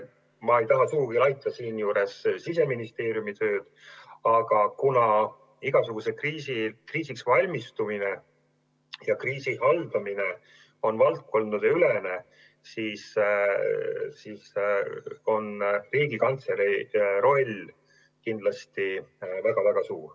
Ma ei taha siinjuures sugugi laita Siseministeeriumi tööd, aga igasuguseks kriisiks valmistumine ja kriisi haldamine on valdkondadeülene ning Riigikantselei roll on kindlasti väga-väga suur.